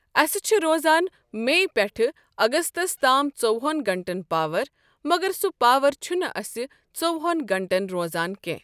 اسہِ چھِ روزان می پٮ۪ٹھ اگستس تام ژۄوہن گنٛٹن پاور مگر سُہ پاور چھُنہٕ اسہِ ژۄۄہن گنٛٹن روزان کینٛہہ۔